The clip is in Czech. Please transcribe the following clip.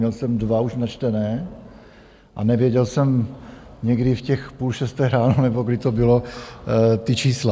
Měl jsem dva už načtené a nevěděl jsem někdy v těch půl šesté ráno, nebo kdy to bylo, ta čísla.